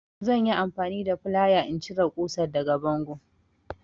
Zan yi amfani da flaya in cire ƙusar daga bango.